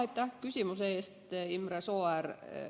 Aitäh küsimuse eest, Imre Sooäär!